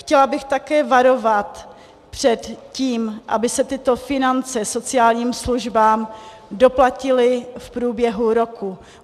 Chtěla bych také varovat před tím, aby se tyto finance sociálním službám doplatily v průběhu roku.